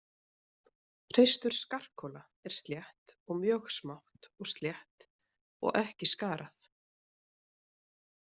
Hreistur skarkola er slétt og mjög smátt og slétt og ekki skarað.